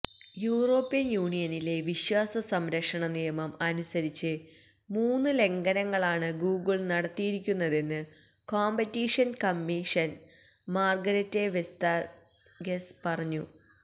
European യൂണിയനിലെ വിശ്വാസ സംരക്ഷണ നിയമം അനുസരിച്ച് മൂന്ന് ലംഘനങ്ങളാണ് ഗുഗ്ള് നടത്തിയിരിക്കുന്നതെന്ന് കൊംപിറ്റീഷന് കമ്മീഷണര് മാര്ഗരത്തെ വെസ്താഗെര് പറഞ്ഞു